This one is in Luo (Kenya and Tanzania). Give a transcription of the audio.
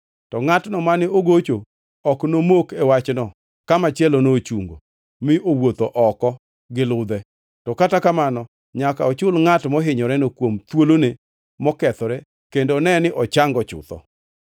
to ngʼatno mane ogocho ok nomok e wachno ka machielono ochungo mi owuotho oko gi ludhe; to kata kamano, nyaka ochul ngʼat mohinyoreno kuom thuolone mokethore kendo one ni ochango chutho.